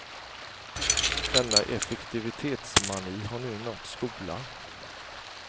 Denna effektivitetsmani har nu nått skolan.